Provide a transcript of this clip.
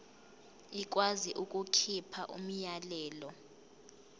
ikwazi ukukhipha umyalelo